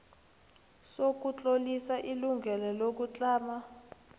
sokutlolisa ilungelo lokutlama